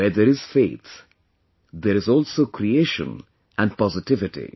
Where there is faith, there is also creation and positivity